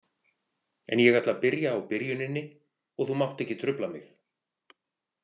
En ég ætla að byrja á byrjuninni og þú mátt ekki trufla mig